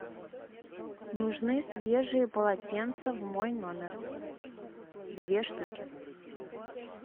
нужны свежие полотенца в мой номер две штуки